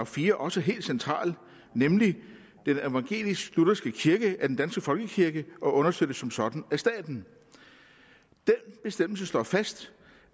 fire også helt central nemlig den evangelisk lutherske kirke er den danske folkekirke og understøttes som sådan af staten den bestemmelse slår fast